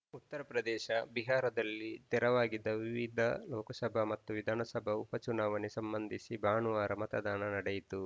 ಉತ್ತರ ಪ್ರದೇಶ ಬಿಹಾರದಲ್ಲಿ ತೆರವಾಗಿದ್ದ ವಿವಿಧ ಲೋಕಸಭಾ ಮತ್ತು ವಿಧಾನಸಭಾ ಉಪ ಚುನಾವಣೆ ಸಂಬಂಧಿಸಿ ಭಾನುವಾರ ಮತದಾನ ನಡೆಯಿತು